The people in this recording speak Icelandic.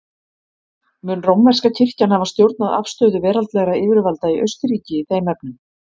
Mun rómverska kirkjan hafa stjórnað afstöðu veraldlegra yfirvalda í Austurríki í þeim efnum.